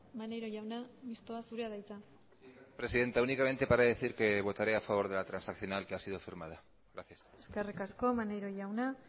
maneiro jauna mistoa zurea da hitza presidenta únicamente para decir que votaré a favor de la transaccional que ha sido firmada gracias eskerrik asko maneiro jauna